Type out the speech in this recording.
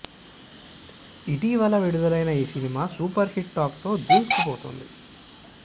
ఇటీవల విడుదలైన ఈ సినిమా సూపర్ హిట్ టాక్ తో దూసుకుపోతుంది